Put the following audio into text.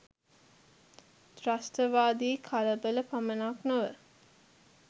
ත්‍රස්තවාදී කලබල පමණක් නොව